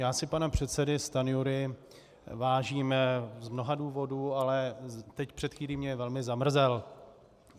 Já si pana předsedy Stanjury vážím z mnoha důvodů, ale teď před chvílí mě velmi zamrzel.